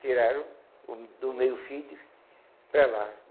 Tiraram o do meio-fio para lá.